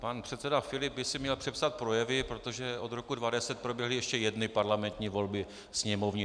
Pan předseda Filip by si měl přepsat projevy, protože od roku 2010 proběhly ještě jedny parlamentní volby sněmovní.